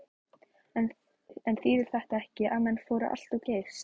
En þýðir þetta ekki að menn fóru allt of geyst?